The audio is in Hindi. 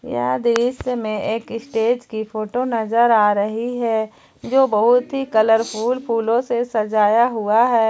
यह दृश्य में एक स्टेज की फोटो नजर आ रही है जो बहुत ही कलरफुल फूलों से सजाया हुआ है।